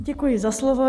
Děkuji za slovo.